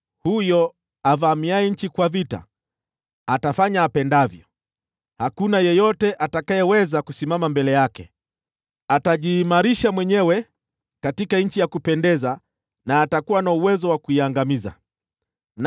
Huyo mvamia nchi atafanya apendavyo; hakuna yeyote atakayeweza kumpinga. Atajiimarisha katika Nchi ya Kupendeza, na atakuwa na uwezo wa kuiangamiza.